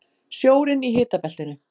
Sjórinn í hitabeltinu